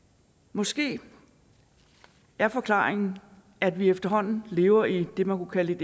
måske er forklaringen at vi efterhånden lever i det man kunne kalde